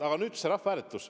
Aga nüüd see rahvahääletus.